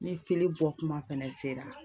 Ni fili bɔ kuma fɛnɛ sera